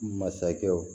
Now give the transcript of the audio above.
Masakɛw